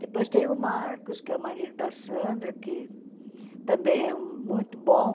Depois tem o Marcos, que é o marido da Sandra, que também é muito bom.